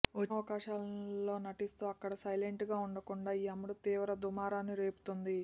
వచ్చిన అవకాశాల్లో నటిస్తూ అక్కడ సైలెంట్గా ఉండకుండా ఈ అమ్మడు తీవ్ర దుమారాన్ని రేపుతోంది